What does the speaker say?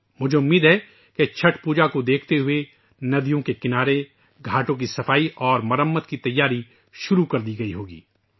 مجھے امید ہے کہ چھٹ پوجا کو دیکھتے ہوئے ندیوں کے کنارے ، گھاٹوں کی صفائی اور مرمت کی تیاری شروع کر دی گئی ہوگی